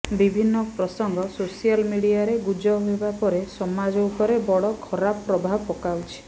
ବିଭିନ୍ନ ପ୍ରସଙ୍ଗ ସୋସିଆଲ ମିଡଆରେ ଗୁଜବ ହେବା ପରେ ସମାଜ ଉପରେ ବଡ ଖରାପ ପ୍ରଭାବ ପକାଉଛି